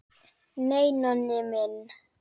Nei, Nonni minn.